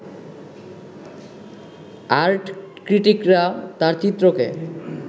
আর্টক্রিটিকরা তাঁর চিত্রকে